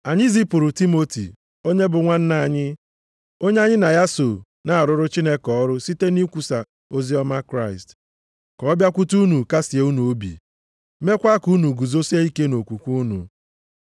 Anyị zipụrụ Timoti, onye bụ nwanna anyị, onye anyị na ya so na-arụrụ Chineke ọrụ site nʼịkwusa oziọma Kraịst, ka ọ bịakwute unu, kasịe unu obi, meekwa ka unu guzosie ike nʼokwukwe unu.